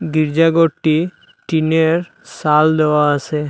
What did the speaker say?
গির্জা গরটি টিনের সাল দেওয়া আছে।